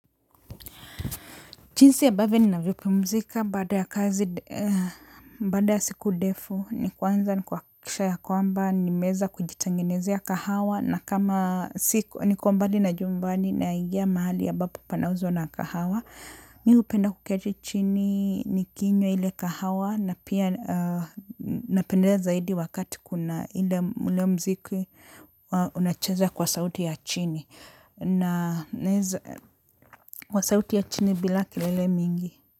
Jinsi ambavyo ninavyo pumzika baada ya kazi, bada ya siku ndefu ni kwanza ni kwa kuhakikiisha ya kwamba ni meweza kujitengenezia kahawa na kama siko ni kwa mbali na jumbani na igia mahali amabapo panauzwa na kahawa. Mimi hupenda kuketi chini ni kinywa ile kahawa na pia napendea zaidi wakati kuna ile ule mziki unacheza kwa sauti ya chini na kwa sauti ya chini bila kilele mingi.